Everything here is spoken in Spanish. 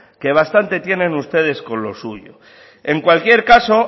que bastante tienen ustedes con lo suyo en cualquier caso